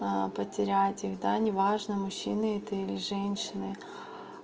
потерять их да неважно мужчины это или женщины